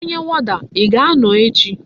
Onye woda,I ga-ano echi?